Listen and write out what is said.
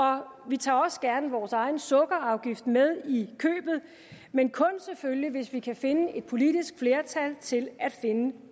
vi tager også gerne vores egen sukkerafgift med i købet men selvfølgelig kun hvis vi kan finde et politisk flertal til at finde